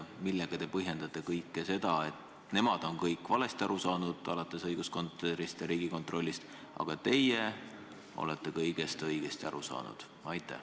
Millega te põhjendate seda, et nemad on kõik valesti aru saanud, alates õiguskantslerist ja Riigikontrollist, aga teie olete kõigest õigesti aru saanud?